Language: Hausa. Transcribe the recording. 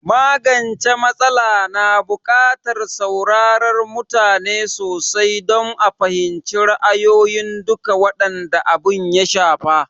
Magance m\atsala na bukatar saurarar mutane sosai don a fahimci ra'ayin dukan waɗanda abin ya shafa